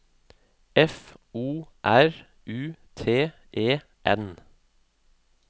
F O R U T E N